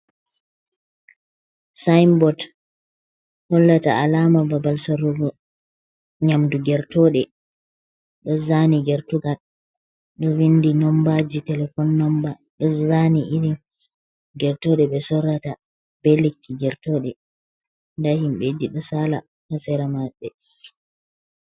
Sainbot hollata alama babal sorrogo nyamdu gertoɗe, ɗo zani gertugal ɗo winɗii nombaji telefon. Ɗo zani irin gertoɗe be sorrata be lekki gertoɗe. nda himbeji ɗo sala ha tsera mabbe.